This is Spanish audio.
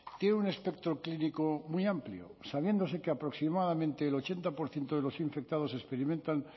tiene un espectro clínico muy amplio sabiéndose que aproximadamente el ochenta por ciento de los infectados experimentan